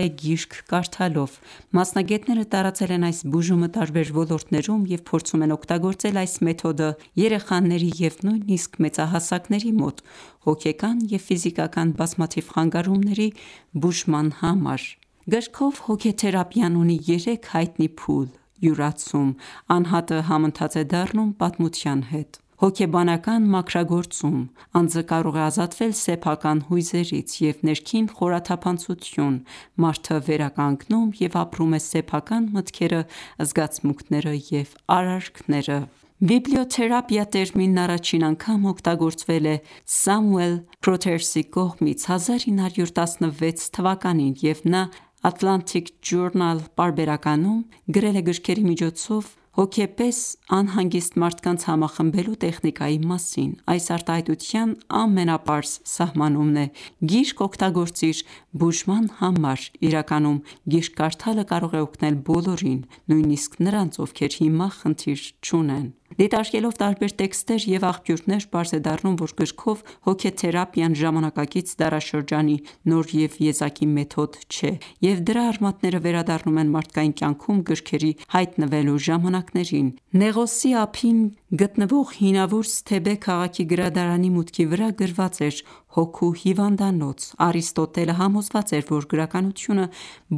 է գիրք կարդալով: Մասնագետները տարածել են այս բուժումը տարբեր ոլորտներում և փորձում են օգտագործել այս մեթոդը երեխաների և նույնիսկ մեծահասակների մոտ հոգեկան և ֆիզիկական բազմաթիվ խանգարումների բուժման համար: Գրքով հոգեթերապիան ունի երեք հայտնի փուլ՝ յուրացում (անհատը համընթաց է դառնում պատմության հետ), հոգեբանական մաքրագործում (անձը կարող է ազատվել սեփական հույզերից) և ներքին խորաթափանցություն (մարդը վերականգնում և ապրում է սեփական մտքերը, զգացմունքները և արարքները): «Բիբլիոթերապիա» տերմինն առաջին անգամ օգտագործվել է Սամուել Քրոթերսի կողմից 1916 թվականին և նա Atlantic Journal պարբերականում գրել է գրքերի միջոցով հոգեպես անհանգիստ մարդկանց համախմբելու տեխնիկայի մասին: Այս արտահայտության ամենապարզ սահմանումն է՝ «գիրք օգտագործիր բուժման համար», իրականում գիրք կարդալը կարող է օգնել բոլորին, նույնիսկ նրանց, ովքեր հիմա խնդիր չունեն։ Դիտարկելով տարբեր տեքստեր և աղբյուրներ՝ պարզ է դառնում, որ գրքով հոգեթերապիան ժամանակակից դարաշրջանի նոր և եզակի մեթոդ չէ, և դրա արմատները վերադառնում են մարդկային կյանքում գրքերի հայտնվելու ժամանակներին: Հինավուրց Թեբե քաղաքի (Նեղոսի ափին) գրադարանի մուտքի վրա գրված էր՝ «Հոգու հիվանդանոց»։ Արիստոտելը համոզված էր, որ գրականությունը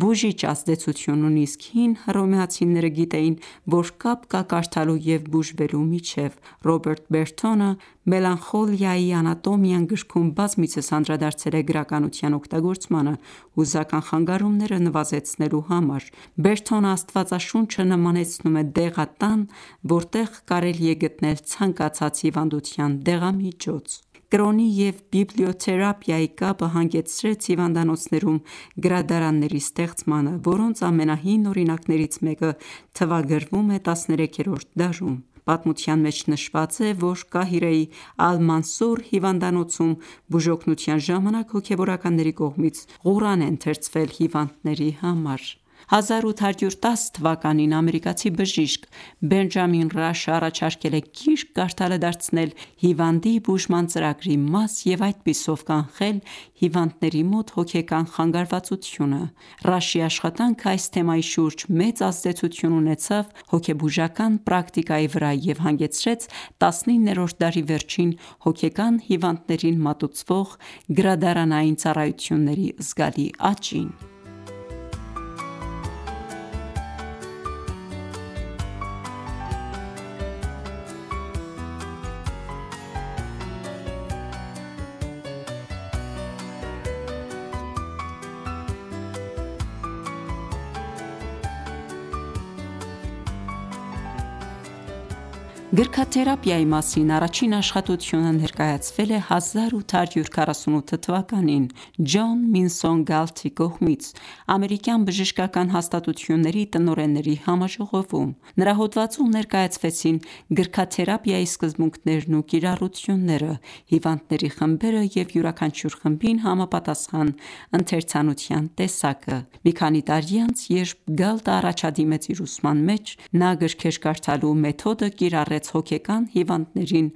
բուժիչ ազդեցություն ունի, իսկ հին հռոմեացիները գիտեին, որ կապ կա կարդալու և բուժվելու միջև: Ռոբերտ Բերթոնը «Մելանխոլիայի անատոմիան» գրքում բազմիցս անդրադարձել է գրականության օգտագործմանը հուզական խանգարումները նվազեցնելու համար: Բերթոնը Աստվածաշունչը նմանեցնում է դեղատան, որտեղ կարելի է գտնել ցանկացած հիվանդության դեղամիջոց: Կրոնի և բիբլիոթերապիայի կապը հանգեցրեց հիվանդանոցներում գրադարանների ստեղծմանը, որոնց ամենահին օրինակներից մեկը թվագրվում է տասներեքերորդ դարում։ Պատմության մեջ նշված է, որ Կահիրեի Ալ-Մանսուր հիվանդանոցում, բուժօգնության ժամանակ, հոգևորականների կողմից Ղուրան է ընթերցվել հիվանդների համար: 1810 թվականին ամերիկացի բժիշկ՝ Բենջամին Ռաշն առաջարկել է գիրք կարդալը դարձնել հիվանդի բուժման ծրագրի մաս և այդպիսով կանխել հիվանդների մոտ հոգեկան խանգարվածությունը: Ռաշի աշխատանքը այս թեմայի շուրջ մեծ ազդեցություն ունեցավ հոգեբուժական պրակտիկայի վրա և հանգեցրեց տասնիններորդ դարի վերջին հոգեկան հիվանդներին մատուցվող գրադարանային ծառայությունների զգալի աճին: Գրքաթերապիայի մասին առաջին աշխատությունը ներկայացվել է 1848 թվականին Ջոն Մինսոն Գալթի կողմից ամերիկյան բժշկական հաստատությունների տնօրենների համաժողովում։ Նրա հոդվածում ներկայացվեցին գրքաթերապիայի սկզբունքներն ու կիրառությունները, հիվանդների խմբերը և յուրաքանչյուր խմբին համապատասխան ընթերցանության տեսակը։ Մի քանի տարի անց, երբ Գալտը առաջադիմեց իր ուսման մեջ, նա գրքեր կարդալու մեթոդը կիրառեց հոգեկան հիվանդներին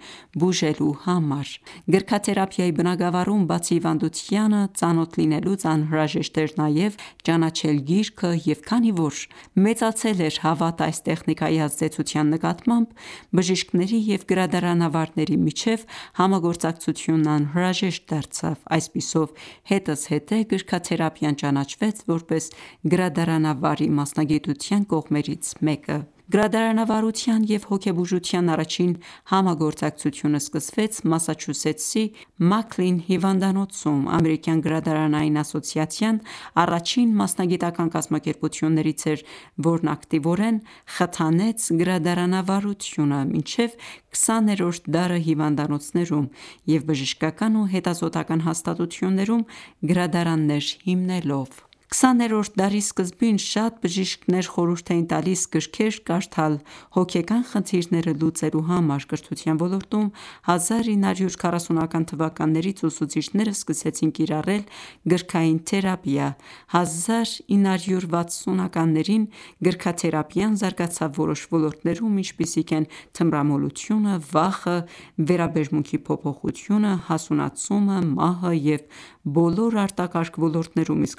բուժելու համար: Գրքաթերապիայի բնագավառում, բացի հիվանդությանը ծանոթ լինելուց, անհրաժեշտ էր նաև ճանաչել գիրքը, և քանի որ մեծացել էր հավատը այս տեխնիկայի ազդեցության նկատմամբ, բժիշկների և գրադարանավարների միջև համագործակցությունն անհրաժեշտ դարձավ: Այսպիսով, հետզհետե գրքաթերապիան ճանաչվեց որպես գրադարանավարի մասնագիտության կողմերից մեկը: Գրադարանավարության և հոգեբուժության առաջին համագործակցությունը սկսվեց Մասաչուսեթսի Մաքլին հիվանդանոցում: Ամերիկյան գրադարանային ասոցիացիան առաջին մասնագիտական ​​կազմակերպություններից էր, որն ակտիվորեն խթանեց գրադարանավարությունը՝ մինչև քսաներորդ դարը հիվանդանոցներում և բժշկական ու հետազոտական ​​հաստատություններում գրադարաններ հիմնելով: Քսաներորդ դարի սկզբին շատ բժիշկներ խորհուրդ էին տալիս գրքեր կարդալ հոգեկան խնդիրները լուծելու համար։ Կրթության ոլորտում 1940-ական թվականներից ուսուցիչները սկսեցին կիրառել գրքային թերապիան։ 1960-ականներին գրքաթերապիան զարգացավ որոշ ոլորտներում, ինչպիսիք են թմրամոլությունը, վախը, վերաբերմունքի փոփոխությունը, հասունացումը, մահը և բոլոր արտակարգ ոլորտներոմ, իսկ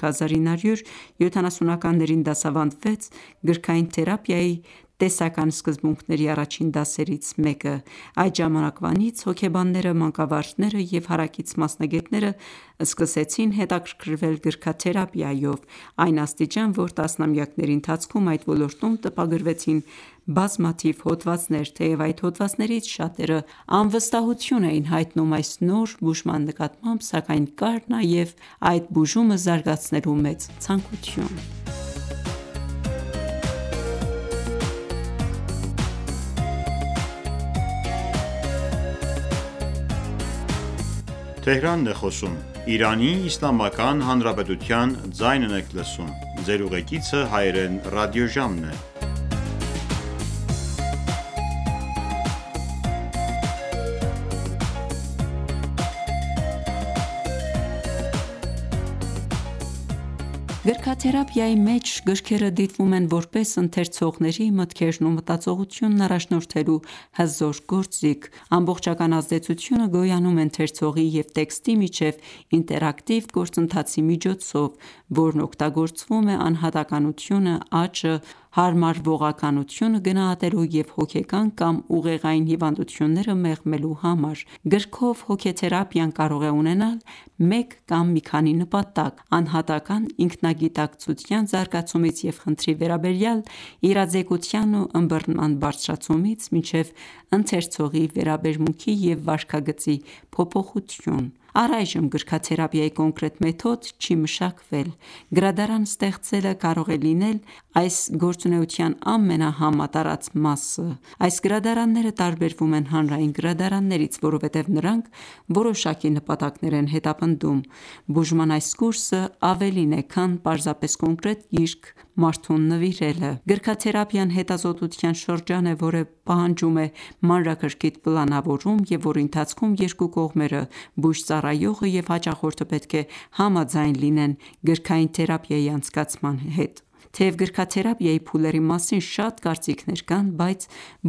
1970-ականներին դասավանդվեց գրքային թերապիայի տեսական սկզբունքների առաջին դասերից մեկը: Այդ ժամանակվանից հոգեբանները, մանկավարժները և հարակից մասնագետները սկսեցին հետաքրքրվել գրքաթերապիայով, այն աստիճան, որ տասնամյակների ընթացքում այդ ոլորտում տպագրվեցին բազմաթիվ հոդվածներ: Թեև այդ հոդվածներից շատերը անվստահություն էին հայտնում այս նոր բուժման նկատմամբ, սակայն կար նաև այդ բուժումը զարգացնելու մեծ ցանկություն: Գրքաթերապիա Գրքաթերապիայի մեջ գրքերը դիտվում են որպես ընթերցողների մտքերն ու մտածողությունը առաջնորդելու հզոր գործիք. ամբողջական ազդեցությունը գոյանում է ընթերցողի և տեքստի միջև ինտերակտիվ գործընթացի միջոցով, որն օգտագործվում է անհատականությունը, աճը, հարմարվողականությունը գնահատելու և հոգեկան կամ ուղեղային հիվանդությունները մեղմելու համար: Գրքով հոգեթերապիան կարող է ունենալ մեկ կամ մի քանի նպատակ՝ անհատական ​​ինքնագիտակցության զարգացումից և խնդրի վերաբերյալ իրազեկության ու ըմբռնման բարձրացումից մինչև ընթերցողի վերաբերմունքի և վարքագծի փոփոխություն: Առայժմ գրքաթերապիայի կոնկրետ մեթոդ չի մշակվել։ Գրադարան ստեղծելը կարող է լինել այս գործունեության ամենահամատարած մասը: Այս գրադարանները տարբերվում են հանրային գրադարաններից: Որովհետև նրանք որոշակի նպատակներ են հետապնդում։ Բուժման այս կուրսն ավելին է, քան պարզապես կոնկրետ գիրք մարդուն նվիրելը: Գրքաթերապիան հետազոտության շրջան է, որը պահանջում է մանրակրկիտ պլանավորում, և որի ընթացքում երկու կողմերը (բուժծառայողը և հաճախորդը) պետք է համաձայն լինեն գրքային թերապիայի անցկացման հետ: Թեև գրքաթերապիայի փուլերի մասին շատ կարծիքներ կան, բայց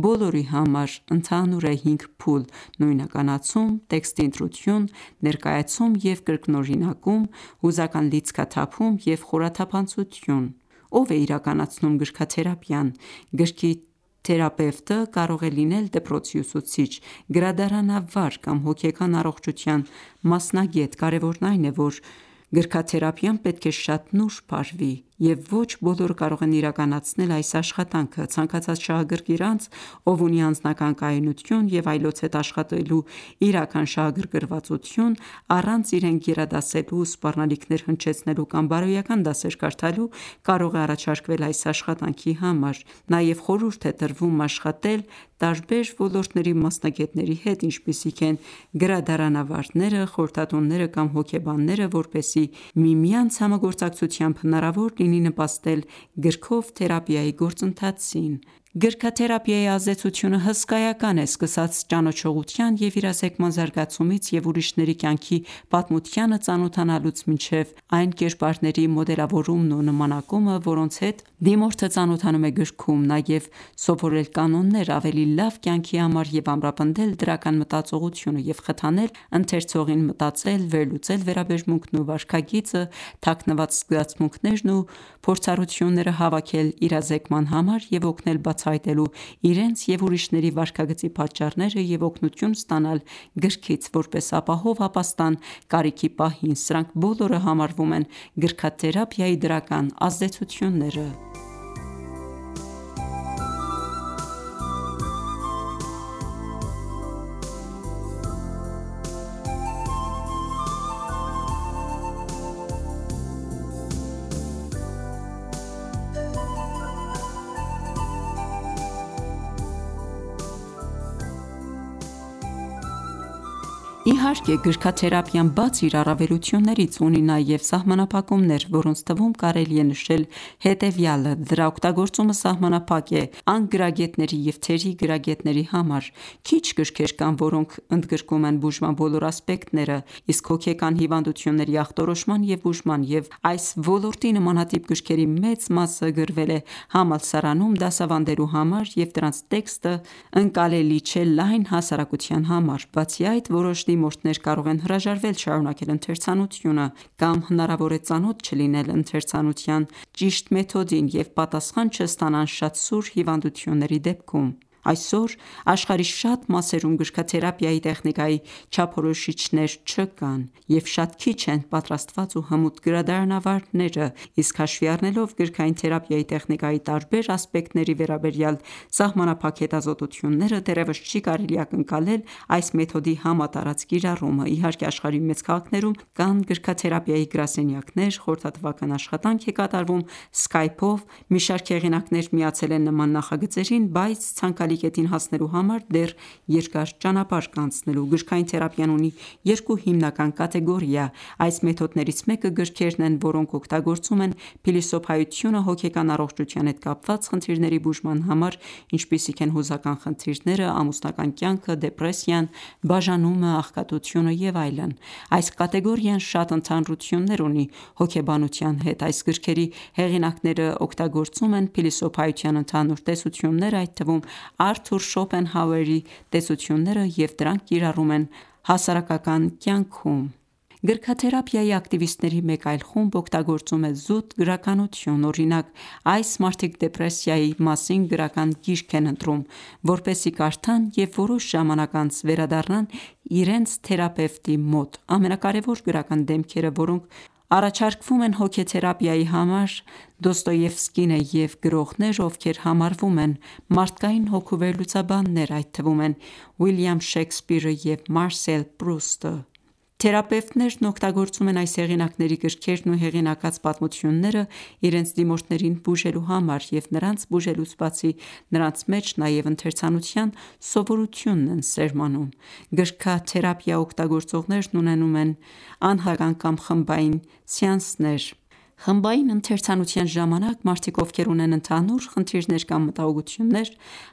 բոլորի համար ընդհանուր է 5 փուլ՝ նույնականացում, տեքստի ընտրություն, ներկայացում և կրկնօրինակում, հուզական լիցքաթափում և խորաթափանցություն: Ո՞վ է իրականացնում գրքաթերապիան: Գրքի թերապևտը կարող է լինել դպրոցի ուսուցիչ, գրադարանավար կամ հոգեկան առողջության մասնագետ: Կարևորն այն է, որ գրքաթերապիան պետք է շատ նուրբ արվի, և ոչ բոլորը կարող են իրականացնել այս աշխատանքը։ Ցանկացած շահագրգիռ անձ, ով ունի անձնական կայունություն և այլոց հետ աշխատելու իրական շահագրգռվածություն առանց իրեն գերադասելու, սպառնալիքներ հնչեցնելու կամ բարոյական դասեր կարդալու, կարող է առաջարկվել այս աշխատանքի համար: Նաև խորհուրդ է տրվում աշխատել տարբեր ոլորտների մասնագետների հետ, ինչպիսիք են՝ գրադարանավարները, խորհրդատուները կամ հոգեբանները, որպեսզի միմյանց համագործակցությամբ հնարավոր լինի նպաստել գրքով հոգեթերապիայի գործընթացին: Գրքաթերապիայի ազդեցությունը հսկայական է: Սկսած ճանաչողության և իրազեկման զարգացումից և ուրիշների կյանքի պատմությանը ծանոթանալուց մինչև այն կերպարների մոդելավորումն ու նմանակումը, որոնց հետ դիմորդը ծանոթանում է գրքում: Նաև սովորել կանոններ ավելի լավ կյանքի համար և ամրապնդել դրական մտածողությունը և խթանել ընթերցողին մտածել, վերլուծել վերաբերմունքն ու վարքագիծը, թաքնված զգացմունքներն ու փորձառությունները հավաքել իրազեկման համար և օգնել բացահայտելու իրենց և ուրիշների վարքագծի պատճառները և օգնություն ստանալ գրքից՝ որպես ապահով ապաստան կարիքի պահին, սրանք բոլորը համարվում են գրքաթերապիայի դրական ազդեցությունները: Իհարկե, գրքաթերապիան, բացի իր առավելություններից, ունի նաև սահմանափակումներ, որոնց թվում կարելի է նշել հետևյալը՝ դրա օգտագործումը սահմանափակ է անգրագետների և թերի գրագետների համար, քիչ գրքեր կան, որոնք ընդգրկում են բուժման բոլոր ասպեկտները, իսկ հոգեկան հիվանդությունների ախտորոշման և բուժման և այս ոլորտի նմանատիպ գրքերի մեծ մասը գրվել է համալսարանում դասավանդելու համար և դրանց տեքստը ընկալելի չէ լայն հասարակության համար։ Բացի այդ, որոշ դիմորդներ կարող են հրաժարվել շարունակել ընթերցանությունը, կամ հնարավոր է ծանոթ չլինեն ընթերցանության ճիշտ մեթոդին և պատասխան չստանան շատ սուր հիվանդությունների դեպքում: Այսօր աշխարհի շատ մասերում գրքաթերապիայի տեխնիկայի չափորոշիչներ չկան, և շատ քիչ են պատրաստված ու հմուտ գրադարանավարները, իսկ հաշվի առնելով գրքային թերապիայի տեխնիկայի տարբեր ասպեկտների վերաբերյալ սահմանափակ հետազոտությունները, դեռևս չի կարելի ակնկալել, այս մեթոդի համատարած կիրառումը: Իհարկե, աշխարհի մեծ քաղաքներում կան գրքաթերապիայի գրասենյակներ, խորհրդատվական աշխատանք է կատարվում Skype-ով, մի շարք հեղինակներ միացել են նման նախագծերին, բայց ցանկալի կետին հասնելու համար դեռ երկար ճանապարհ կա անցնելու։ Գրքային թերապիան ունի երկու հիմնական կատեգորիա. Այս մեթոդներից մեկը գրքերն են, որոնք օգտագործում են փիլիսոփայությունը հոգեկան առողջության հետ կապված խնդիրների բուժման համար, ինչպիսիք են հուզական խնդիրները, ամուսնական կյանքը, դեպրեսիան, բաժանումը, աղքատությունը և այլն: Այս կատեգորիան շատ ընդհանրություններ ունի հոգեբանության հետ: Այս գրքերի հեղինակներն օգտագործում են փիլիսոփայության ընդհանուր տեսություններ, այդ թվում Արթուր Շոպենհաուերի տեսությունները, և դրանք կիրառում են հասարակական կյանքում: Գրքաթերապիայի ակտիվիստների մեկ այլ խումբ օգտագործում է զուտ գրականություն: Օրինակ՝ այս մարդիկ դեպրեսիայի մասին գրական գիրք են ընտրում, որպեսզի կարդան և որոշ ժամանակ անց վերադառնան իրենց թերապևտի մոտ: Ամենակարևոր գրական դեմքերը որոնք առաջարկվում են հոգեթերապիայի համար Դոստոևսկին է և գրողներ, ովքեր համարվում են մարդկային հոգու վերլուծաբաններ, այդ թվում են՝ Ուիլյամ Շեքսպիրը և Մարսել Պրուստը: Թերապևտներն օգտագործում են այս հեղինակների գրքերն ու հեղինակած պատմությունները իրենց դիմորդներին բուժելու համար և նրանց բուժելուց բացի նրանց մեջ նաև ընթերցանության սովորությունն են սերմանում: Գրքաթերապիա օգտագործողներն ունենում են անհատական ​​կամ խմբային սեանսներ։ Խմբային ընթերցանության ժամանակ մարդիկ, ովքեր ունեն ընդհանուր խնդիրներ կամ մտահոգություններ,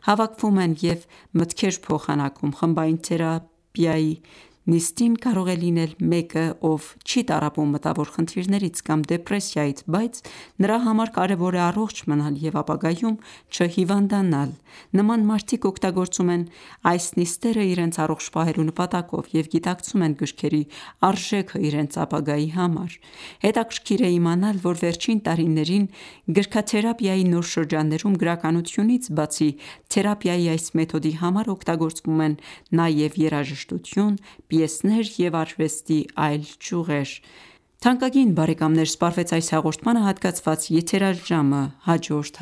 հավաքվում են և մտքեր փոխանակում: Խմբային գրքաթերապիայի նիստին կարող է լինել մեկը, ով չի տառապում մտավոր խնդիրներից կամ դեպրեսիայից, բայց նրա համար կարևոր է առողջ մնալ և ապագայում չհիվանդանալ: Նման մարդիկ օգտագործում են այս նիստերը իրենց առողջ պահելու նպատակով և գիտակցում են գրքերի արժեքն իրենց ապագայի համար: Հետաքրքիր է իմանալ, որ վերջին տարիներին գրքաթերապիայի նոր շրջաններում, գրականությունից բացի, թերապիայի այս մեթոդի համար օգտագործվում են նաև երաժշտություն, պիեսներ և արվեստի այլ ճյուղեր։ Թանկագին բարեկամներ սպառվեց այս հաղորդմանը հատկացված եթերաժամը: Հաջորդ